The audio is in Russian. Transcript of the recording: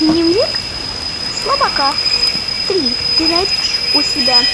дневник слабака три ты найдешь у себя